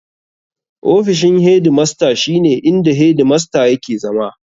Ofishin hedi masta shi ne inda hedi masta yake zama.